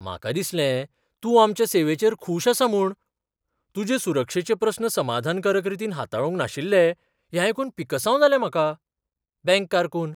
म्हाका दिसलें तूं आमच्या सेवेचेर खूश आसा म्हूण. तुजे सुरक्षेचे प्रस्न समाधकारक रितीन हाताळूंक नाशिल्ले हें आयकून पिकसांव जालें म्हाका. बँक कारकून